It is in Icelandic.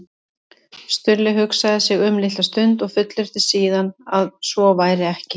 Stulli hugsaði sig um litla stund og fullyrti síðan að svo væri ekki.